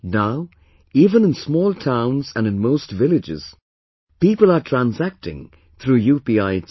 Now, even in small towns and in most villages people are transacting through UPI itself